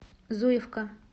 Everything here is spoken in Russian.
зуевка